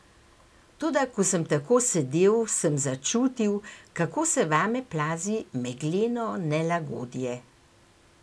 Toda ko sem tako sedel, sem začutil, kako se vame plazi megleno nelagodje.